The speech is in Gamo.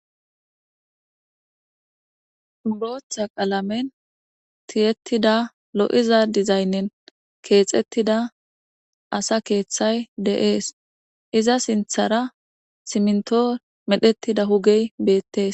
Botta qalamen tiyetida lo'za dizaynen kethetida asa keththay de'es iza sinttara simintto medhetida huge bettes.